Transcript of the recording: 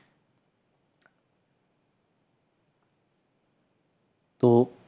তো